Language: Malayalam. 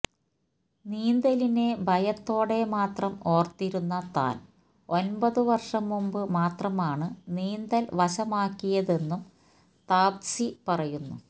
നീന്തലിനെ ഭയത്തോടെ മാത്രം ഓർത്തിരുന്ന താൻ ഒമ്പതു വർഷം മുമ്പ് മാത്രമാണ് നീന്തൽ വശമാക്കിയതെന്നും താപ്സി പറയുന്നു